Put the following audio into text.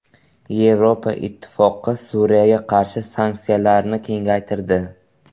Yevropa Ittifoqi Suriyaga qarshi sanksiyalarni kengaytirdi.